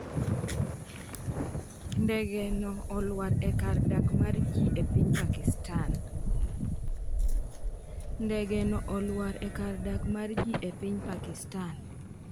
Ndege no olwar e kar dak mar ji e piny Pakistan